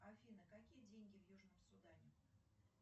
афина какие деньги в южном судане